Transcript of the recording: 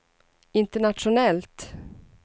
internationellt